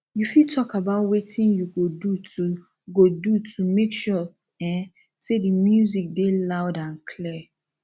you fit talk about wetin you go do to go do to make sure um say di music dey loud and clear